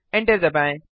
enter दबाएँ